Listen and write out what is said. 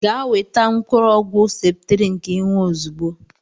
Gaa weta mkụrụ ọkwụ septrin ka i nwụọ ọzigbọ!!!!!